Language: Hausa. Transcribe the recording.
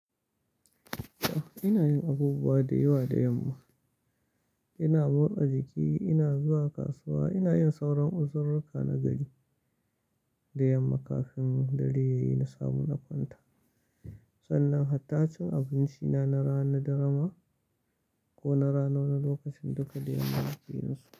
Ina yin abubuwa da yawa da yamma. Ina motsa jiki, ina zuwa kasuwa, ina yin sauran uzururuka na gari da yamma kafin dare ya yi sabo na kwanta. Sannan hattacin abinci na na rana da rana ko na rana na lokacin duka da yamma kafin in sauka.